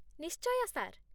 ନିଶ୍ଚୟ, ସାର୍